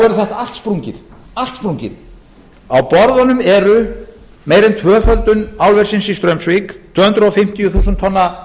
verður þetta allt sprungið á borðunum eru meira en tvöföldun álversins í straumsvík tvö hundruð fimmtíu þúsund tonna